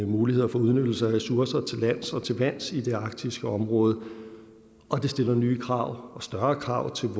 muligheder for udnyttelse af ressourcer til lands og til vands i det arktiske område og det stiller nye krav og større krav til